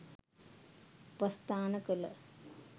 උපස්ථාන කළ